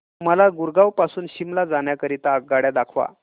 मला गुरगाव पासून शिमला जाण्या करीता आगगाड्या दाखवा